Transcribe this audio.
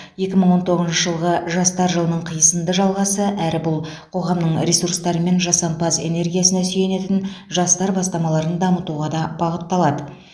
екі мың он тоғызыншы жылғы жастар жылының қисынды жалғасы әрі бұл қоғамның ресурстары мен жасампаз энергиясына сүйенетін жастар бастамаларын дамытуға да бағытталады